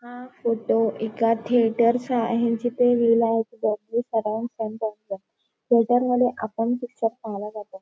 हा फोटो एका थिएटर चा आहे जिथ थिएटर मध्ये आपण पिक्चर पाहायला जातो.